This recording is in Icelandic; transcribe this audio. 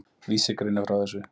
Vísir greinir frá þessu.